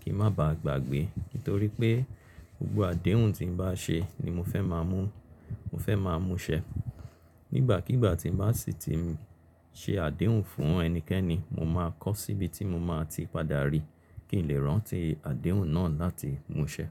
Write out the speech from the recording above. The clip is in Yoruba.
kí n má baà gbàgbé. Nítorí pé gbogbo àdéhùn tí n bá ṣe ni mo fẹ́ máa mú, mo fẹ́ máa mú ṣẹ. Ní ìgbàkigbà tí n bá sì ti n ṣe àdéhùn fún ẹnikẹ́ni, mo máa kọọ́ síbi tí mo máa ti padà rí kí n lè rántí àdéhùn náà láti mú ṣẹ.